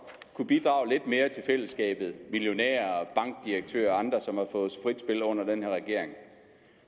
kunne bidrage lidt mere til fællesskabet millionærer og bankdirektører og andre som har fået frit spil under den her regering